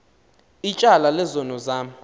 ityala lezono zam